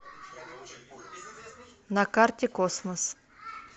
на карте космос